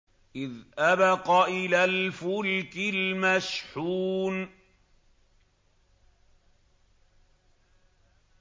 إِذْ أَبَقَ إِلَى الْفُلْكِ الْمَشْحُونِ